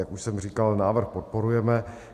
Jak už jsem říkal, návrh podporujeme.